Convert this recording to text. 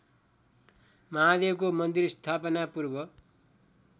महादेवको मन्दिर स्थापनापूर्व